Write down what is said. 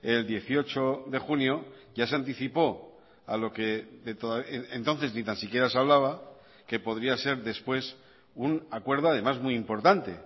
el dieciocho de junio ya se anticipó a lo que entonces ni tan siquiera se hablaba que podría ser después un acuerdo además muy importante